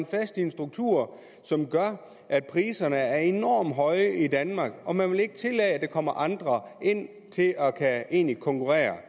fast i en struktur som gør at priserne er enormt høje i danmark og man vil ikke tillade at der kommer andre ind at konkurrere